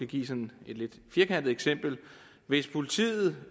give et sådan lidt firkantet eksempel hvis politiet